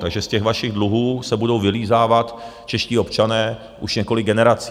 Takže z těch vašich dluhů se budou vylízávat čeští občané už několik generací.